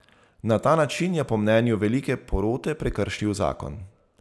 Na ta način je po mnenju velike porote prekršil zakon.